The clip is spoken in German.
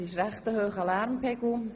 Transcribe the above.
Der Lärmpegel ist ziemlich hoch.